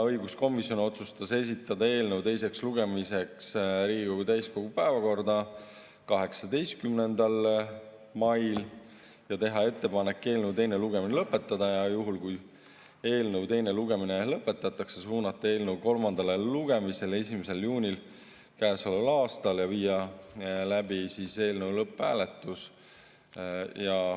Õiguskomisjon otsustas esitada eelnõu teiseks lugemiseks Riigikogu täiskogu päevakorda 18. mail ja teha ettepaneku eelnõu teine lugemine lõpetada ning juhul, kui eelnõu teine lugemine lõpetatakse, suunata eelnõu kolmandale lugemisele 1. juunil käesoleval aastal ja viia läbi eelnõu lõpphääletus.